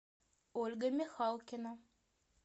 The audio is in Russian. ольга михалкина